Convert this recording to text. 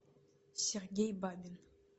сергей бабин